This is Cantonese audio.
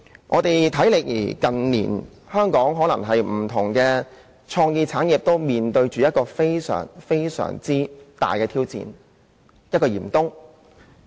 我們近年在香港看到的，是不同創意產業均面對非常大的挑戰，身處嚴冬中。